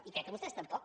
i crec que vostès tampoc